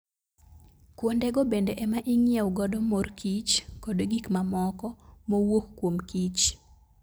Kuondego bende ema Ing'iew godo mor kich koda gik mamoko mowuok kuom kich